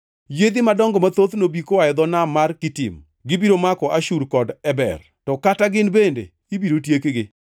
Yiedhi madongo mathoth nobi koa e dho nam mar Kitim; gibiro mako Ashur kod Eber, to kata gin bende ibiro tiekgi.”